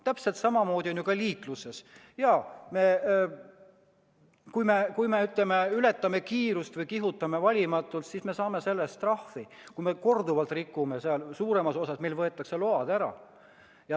Täpselt samamoodi on ju ka liikluses: kui me ületame kiirust või kihutame valimatult, siis me saame selle eest trahvi, ja kui me korduvalt rikume liikluseeskirju, võetakse meilt load ära.